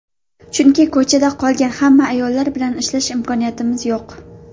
Chunki ko‘chada qolgan hamma ayollar bilan ishlash imkoniyatimiz yo‘q.